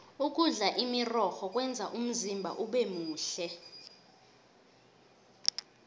ukudla imirorho kwenza umzimba ubemuhle